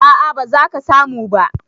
A'a, ba za ka samu ba